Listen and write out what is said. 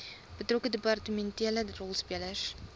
betrokke departementele rolspelers